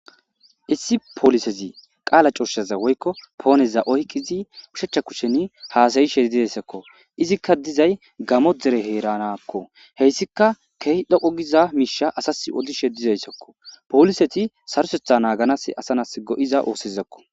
issi polisezi qaala coshaza woykko pooneza oykkizi kushachcha kushen haasayishe dideyssakko izikka dizay gamo dere heeranakko heyssika kehi dhoqo giza miisha asas odishe dizayssakko poliseti sarosetha naaganas asanas go7iza oosezakko